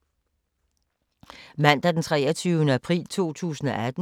Mandag d. 23. april 2018